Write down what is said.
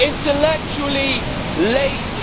intellectually lazy